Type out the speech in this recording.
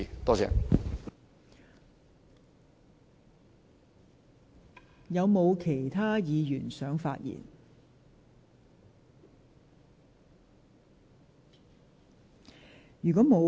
是否有其他議員想發言？